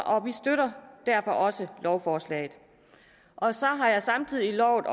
og vi støtter derfor også lovforslaget og så har jeg samtidig lovet at